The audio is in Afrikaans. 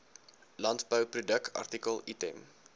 landbouproduk artikel item